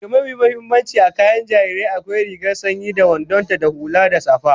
Daga mafi muhimmanci a kayan jariri, akwai rigar sanyi da wandon ta da hula da safa